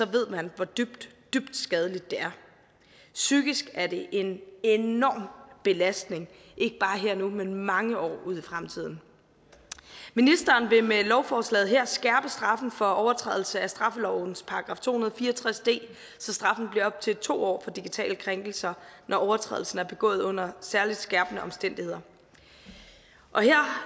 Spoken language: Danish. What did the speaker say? ved man hvor dybt dybt skadeligt det er psykisk er det en enorm belastning ikke bare her og nu men mange år ud i fremtiden ministeren vil med lovforslaget her skærpe straffen for overtrædelse af straffelovens § to hundrede og fire og tres d så straffen bliver op til to år for digitale krænkelser når overtrædelsen er begået under særligt skærpende omstændigheder